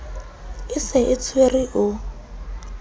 e se e tshwere o